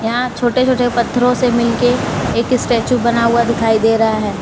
यहां छोटे छोटे पत्थरों से मिलके एक स्टेचू बना हुआ दिखाई दे रहा है।